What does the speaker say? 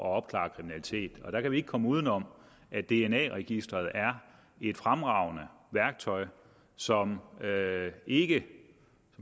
at opklare kriminalitet der kan vi ikke komme uden om at dna registeret er et fremragende værktøj som ikke